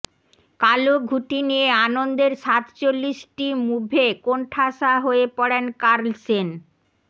কালো ঘুঁটি নিয়ে আনন্দের সাত চল্লিশটি মুভে কোনঠাসা হয়ে পড়েন কার্লসেন